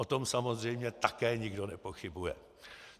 O tom samozřejmě také nikdo nepochybuje.